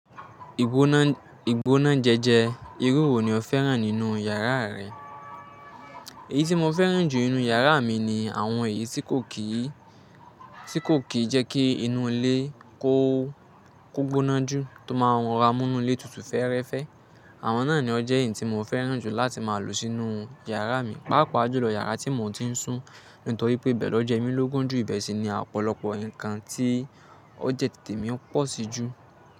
Ìgbóná jẹjẹ, irú wo ni o fẹ́ràn nínú yàrá rẹ? Èyí tí mo fẹ́ràn jù nínú yàrá mi ni àwọn èyí tí kò kìí, tí kò kìí jẹ́ kí inú ilé kó gbóná jù tó máa ń ra múnú ilé tutù fẹ́ẹ́rẹ́fẹ́. Àwọn náà ni ọjẹ́ èyí tí mo fẹ́ràn jù láti máa lò sínú yàrá mi, pàápàá jùlọ yàrá tí mo ti ń sùn, nítorí pé bẹ́ẹ̀ lọ́jọ́ ẹ́ mí ló gùn jù ìbẹ̀sẹ̀ ni ọ̀pọ̀lọpọ̀ nǹkan tí ó jẹ́ tètè mi ń pọ̀ sí jù.